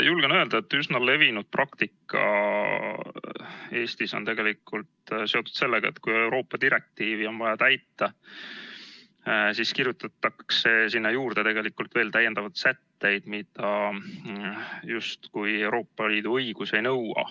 Julgen öelda, et üsna levinud praktika Eestis on tegelikult seotud sellega, et kui Euroopa direktiivi on vaja täita, siis kirjutatakse sinna juurde veel täiendavaid sätteid, mida justkui Euroopa Liidu õigus ei nõua.